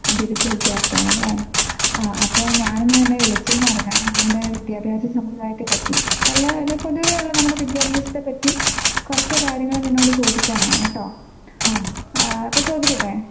ബിരുദ വിദ്യാർഥിയാണല്ലേ. അപ്പോ ഞാൻ ഇന്ന് നിന്നെ വിളിച്ചത് എന്ന് പറഞ്ഞാൽ നമ്മുടെ വിദ്യാഭ്യാസ സമ്പ്രദായത്തെ പറ്റി അല്ല നമ്മുടെ പൊതുവേ ഉള്ളോരു വിദ്യാഭ്യാസത്തെ പറ്റി കുറച്ച് കാര്യങ്ങൾ നിന്നോട് ചോദിക്കാൻ ആണ് കേട്ടോ. അപ്പോ ചോദിക്കട്ടെ?